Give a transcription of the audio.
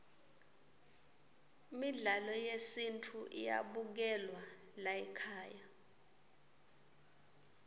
midlalo yesintfu iyabukelwa laykhaya